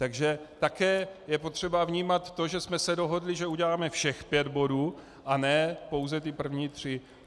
Takže také je potřeba vnímat to, že jsme se dohodli, že uděláme všech pět bodů, a ne pouze ty první tři.